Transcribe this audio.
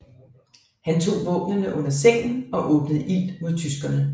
Han tog våbnene under sengen og åbnede ild mod tyskerne